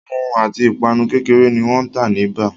Ohun mimu ati ipanu kekere ni wan ta ni baa